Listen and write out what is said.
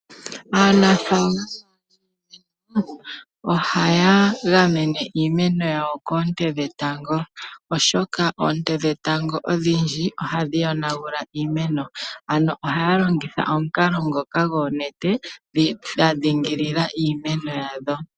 Aanafaalama ohaya gamene iimeno yawo koo nte dhetango oshoka oonte dhetango odhingi ohadhi yonagula iimeno, ano ohaa longitha omikalo dhoka dhoonete dhadhingilila iimeno yawo.